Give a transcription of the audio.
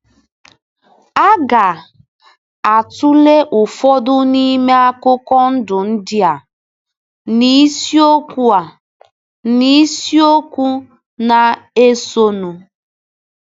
A ga - atụle ụfọdụ n’ime akụkọ ndụ ndị a n’isiokwu a n’isiokwu na - esonụ.